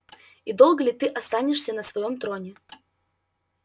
и долго ли ты останешься на своём троне